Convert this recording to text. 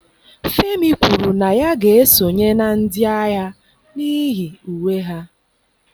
Femi kwuru na ya ga-esonye na ndị agha n'ihi uwe ha